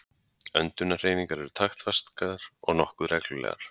Öndunarhreyfingar eru taktfastar og nokkuð reglulegar.